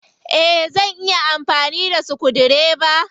Eh. Zan iya amfani da sukudireba.